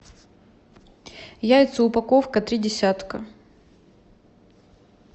яйца упаковка три десятка